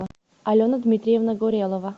алена дмитриевна горелова